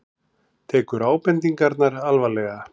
Tekur ábendingarnar alvarlega